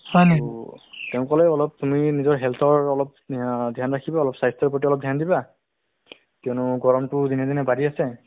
সেইটো ৰামদেৱৰ yoga নহয় জানো ৰামদেৱৰ যিটো আমাক এটা অ so তেওঁ ৰাতিপুৱা যিটো TV হচ্ দেখুৱাই যিটো yoga টো